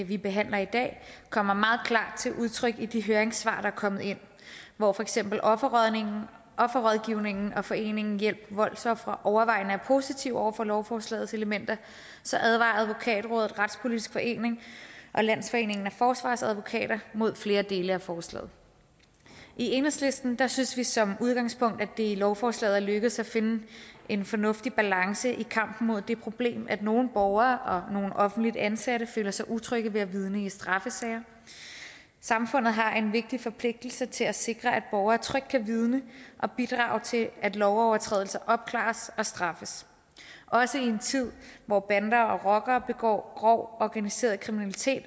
vi behandler i dag kommer meget klart til udtryk i de høringssvar der er kommet ind hvor for eksempel offerrådgivningen offerrådgivningen og foreningen hjælp voldsofre overvejende er positive over for lovforslagets elementer advarer advokatrådet retspolitisk forening og landsforeningen af forsvarsadvokater mod flere dele af forslaget i enhedslisten synes vi som udgangspunkt at det i lovforslaget er lykkedes at finde en fornuftig balance i kampen mod det problem at nogle borgere og nogle offentligt ansatte føler sig utrygge ved at vidne i straffesager samfundet har en vigtig forpligtelse til at sikre at borgere trygt kan vidne og bidrage til at lovovertrædelser opklares og straffes også i en tid hvor bander og rockere begår grov organiseret kriminalitet